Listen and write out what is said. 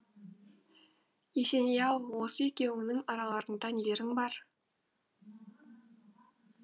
есеней ау осы екеуіңнің араларыңда нелерің бар